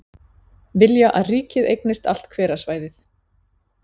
Vilja að ríkið eignist allt hverasvæðið